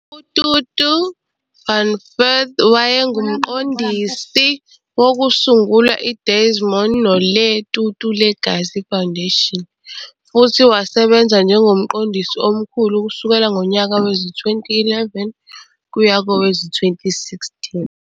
UTutu van Furth wayengumqondisi wokusungula iDesmond noLeah Tutu Legacy Foundation, futhi wasebenza njengomqondisi omkhulu kusukela ngonyaka wezi-2011 kuya kowezi-2016.